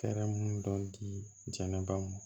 Fɛɛrɛ munnu di jɛnɛbaw